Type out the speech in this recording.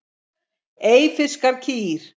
Eyfirskar kýr.